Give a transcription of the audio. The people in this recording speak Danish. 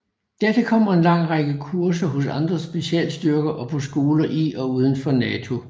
Dertil kommer en lang række kurser hos andre specialstyrker og på skoler i og uden for NATO